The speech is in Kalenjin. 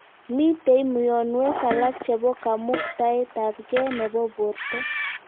Mitei myonwek alak chebo kamuktaet ab gee nebo borto